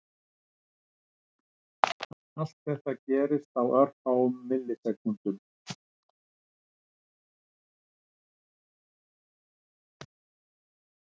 Allt þetta gerist á örfáum millisekúndum.